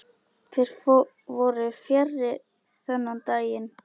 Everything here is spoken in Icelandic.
Þeir voru fjarri þennan daginn.